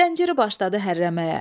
Zənciri başladı hərrəməyə.